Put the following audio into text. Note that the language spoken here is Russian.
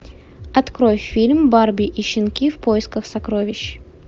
открой фильм барби и щенки в поисках сокровищ